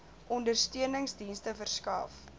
ondersteunings dienste verskaf